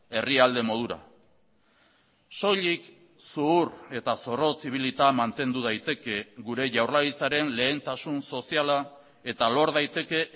herrialde modura soilik zuhur eta zorrotz ibilita mantendu daiteke gure jaurlaritzaren lehentasun soziala eta lor daiteke